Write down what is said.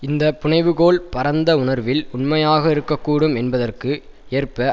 இந்த புனைவுகோள் பரந்த உணர்வில் உண்மையாக இருக்க கூடும் என்பதற்கு ஏற்ப